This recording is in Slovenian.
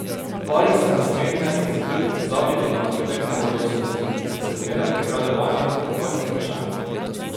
Pari se nasmehne in se trudi pozabiti na občutek nezadostnosti, ki se zmeraj prikrade vanjo ob takih vprašanjih.